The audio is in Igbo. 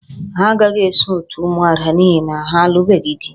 Ha agaghị eso òtù ụmụada n'ihi na ha alụbeghị di